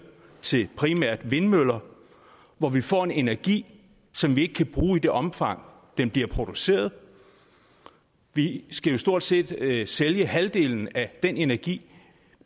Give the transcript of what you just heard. til primært vindmøller og hvor vi får en energi som vi ikke kan bruge i det omfang den bliver produceret vi skal jo stort set sælge sælge halvdelen af den energi